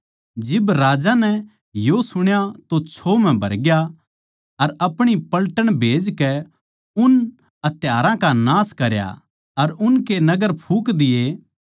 जिब राजा नै यो सुण्या तो छो म्ह भरग्या अर अपणी पलटन खन्दाकै उन हत्यारा का नाश करया अर उनके नगर फूँक दिए